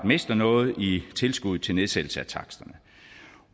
mister noget i tilskud til nedsættelse af taksterne